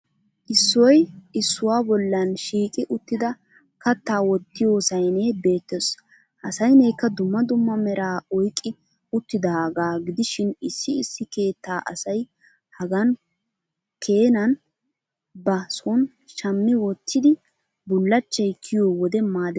Issoy issuwa bollan shiiqi uttida kattaa wottiyo sayinee beettes. Ha sayineekka dumma dumma meraa oyqqi uttidaagaa gidishin issi issi keettaa asay hagaa Keenan ba son shammi wottidi bullachchay kiyiyo wode maadettes.